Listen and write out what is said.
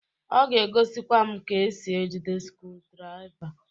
Ọ ga egosikwa m ka esi ejide skrudraỊva.